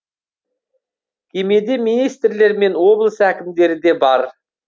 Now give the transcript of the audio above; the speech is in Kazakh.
кемеде министрлер мен облыс әкімдері де бар